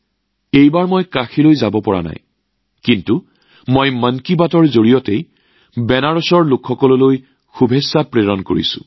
এইবাৰ কাশীলৈ যাব নোৱাৰিম যদিও নিশ্চিতভাৱে মন কী বাতৰ জৰিয়তে বেনাৰসবাসীলৈ শুভেচ্ছা প্ৰেৰণ কৰিছো